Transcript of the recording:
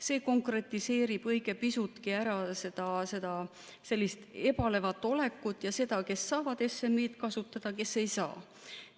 See konkretiseerib õige pisutki ära sellist ebalevat olekut ja seda, kes saavad SMI-d kasutada ja kes ei saa.